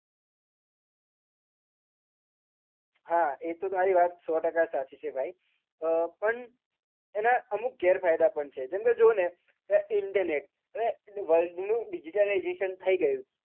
હા એ તો તારી વાત સો ટકા સાચી છે ભાઈ અ પણ એના અમુક ગેરફાયદા પણ છે જેમ કે જો ને internet world નું digitalizestion થઈ ગયું છે.